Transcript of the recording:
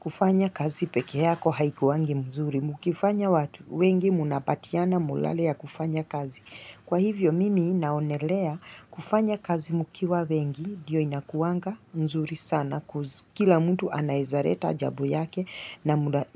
Kufanya kazi peke yako haikuwangi mzuri. Mkifanya watu wengi mnapatiana molale ya kufanya kazi. Kwa hivyo mimi naonelea kufanya kazi mkiwa wengi ndiyo inakuwanga mzuri sana cause kila mtu anaezareta jabo yake